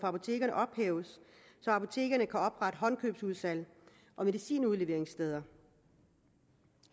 apotekerne ophæves så apotekerne kan oprette håndkøbsudsalg og medicinudleveringssteder